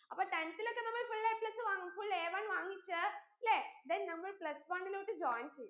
അപ്പൊ tenth ലോക്കെ നമ്മൾ fullAplus വാങ്ങും fullAone വാങ്ങിച്ച് ലെ then നമ്മൾ plus one ലോട്ട് join ചെയ്യും